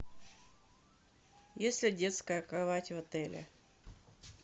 есть ли детская кровать в отеле